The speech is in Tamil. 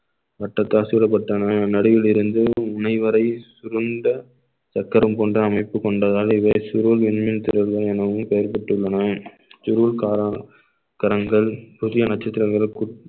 வட்டத்தால் சீரப்பட்டன நடுவில் இருந்து உன்னை வரை சுருண்ட சக்கரம் கொண்ட அமைப்பு கொண்டதால் இவை சுருள் மின்மீன் திரள்கள் எனவும் பெயர் பெற்றுள்ளன சுருள் கரங்~ கரங்கள புதிய நட்சத்திரங்களுக்குள்